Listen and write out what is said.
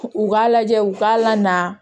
U k'a lajɛ u k'a la na